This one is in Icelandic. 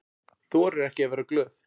Þorir ekki að vera glöð.